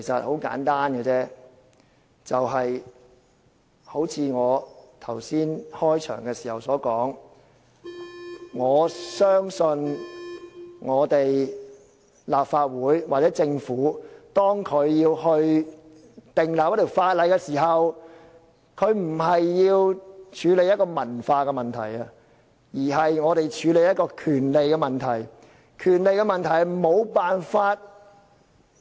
很簡單，正如我剛才開始發言時所說，我相信立法會或政府訂立一項法例時，不是要處理文化問題，而是處理權利問題。